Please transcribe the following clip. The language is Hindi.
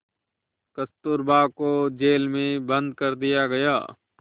कस्तूरबा को जेल में बंद कर दिया गया